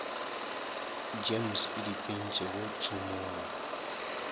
gems e di tsentšego tšhomong